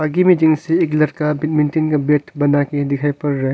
एक लड़का बैडमिंटन का बैट बनाके दिखाई पड़ रहा है।